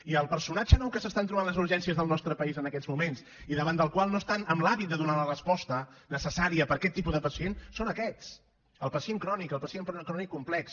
i el personatge nou que s’estan trobant les urgències del nostre país en aquests moments i davant del qual no estan amb l’hàbit de donar la resposta necessària per a aquest tipus de pacient són aquests el pacient crònic el pacient crònic complex